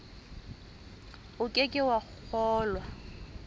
o ke ke wa kgolwa